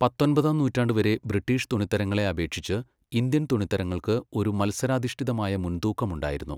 പത്തൊൻപതാം നൂറ്റാണ്ട് വരെ ബ്രിട്ടീഷ് തുണിത്തരങ്ങളെ അപേക്ഷിച്ച് ഇന്ത്യൻ തുണിത്തരങ്ങൾക്ക് ഒരു മത്സരാധിഷ്ഠിതമായ മുൻതൂക്കം ഉണ്ടായിരുന്നു.